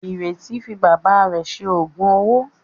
Ìrètí fi bàbá rẹ̀ ṣe òògùn owó.